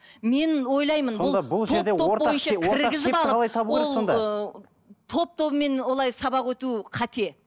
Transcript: мен ойлаймын бұл ол ыыы топ тобымен олай сабақ өту қате